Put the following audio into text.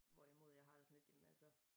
Hvor i mod jeg har det sådan lidt jamen altså